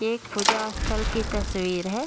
ये एक पूजा स्थल की तस्वीर है।